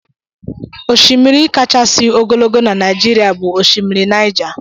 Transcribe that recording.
Oshimírí kachasị ogologo n'naijiria bụ oshimiri Niger.